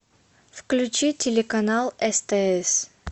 включи телеканал стс